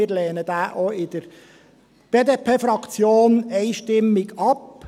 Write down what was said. Wir lehnen diesen auch in der BDP-Fraktion einstimmig ab.